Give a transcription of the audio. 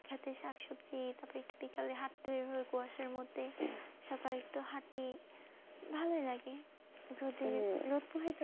সাথে শাকসবজি, তারপর বিকেলে হাঁটতে বেরোবো কুয়াশার মধ্যে সকালে একটু হাঁটি ভালোই লাগে